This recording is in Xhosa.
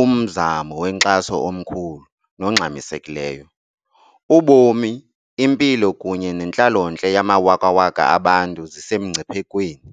"umzamo wenkxaso omkhulu nongxamisekileyo." Ubomi, impilo kunye nentlalontle yamawakawaka abantu zisesemngciphekweni.